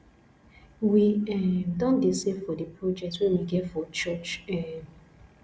we um don dey save for di project wey we get for church um